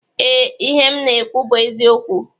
Ee, ihe m na-ekwu bụ eziokwu